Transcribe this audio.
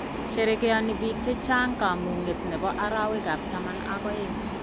Sherekeoni biik che chang kamung'e ne bo arawekab taman ak oeng.